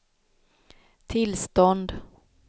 tillstånd